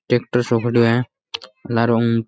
tractor सो खड़ो है --